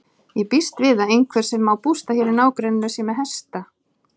Ég býst við að einhver sem á bústað hér í nágrenninu sé með hesta.